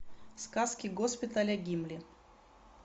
сказки госпиталя гимли